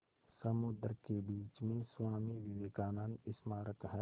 समुद्र के बीच में स्वामी विवेकानंद स्मारक है